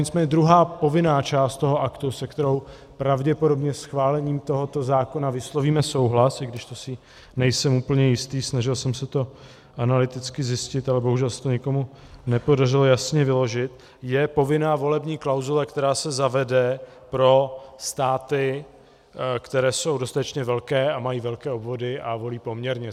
Nicméně druhá povinná část toho aktu, se kterou pravděpodobně schválením tohoto zákona vyslovíme souhlas, i když to si nejsem úplně jistý, snažil jsem se to analyticky zjistit, ale bohužel se to nikomu nepodařilo jasně vyložit, je povinná volební klauzule, která se zavede pro státy, které jsou dostatečně velké a mají velké obvody a volí poměrně.